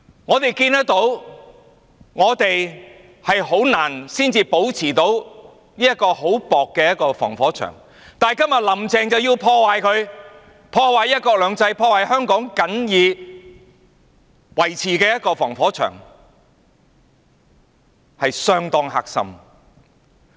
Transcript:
我們看到，我們很難才得以保持的這層很薄的防火牆，今天"林鄭"卻要破壞它、破壞"一國兩制"、破壞香港僅有的防火牆，實在是相當"黑心"。